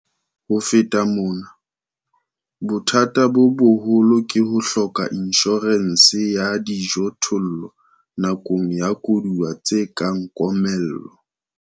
Ho feta mona, bothata bo boholo ke ho hloka inshorense ya dijothollo nakong ya koduwa tse kang komello.